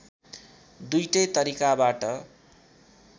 दुईटै तरिकाबाट